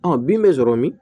bin bɛ sɔrɔ min